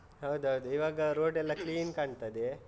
ಹೌದೌದು, ಈವಾಗ road ಎಲ್ಲ clean ಕಾಣ್ತದೆ.